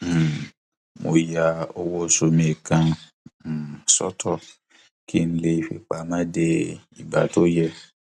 um mo ya owó oṣù mi kan um sótò kí n lè lè fi pamọ dé ìgbà tó yẹ